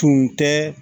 Tun tɛ